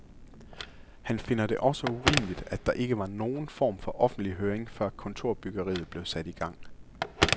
Han finder det også urimeligt, at der ikke var nogen form for offentlig høring, før kontorbyggeriet blev sat i gang.